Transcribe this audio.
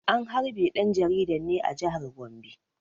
An harbe ɗan jaridan ne a jihar Gombe.